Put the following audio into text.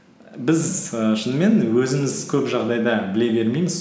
біз ііі шынымен өзіміз көп жағдайда біле бермейміз